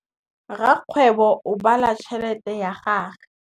Rakgwêbô o bala tšheletê ya gagwe.